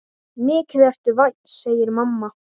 Mikið ertu vænn, segir mamma.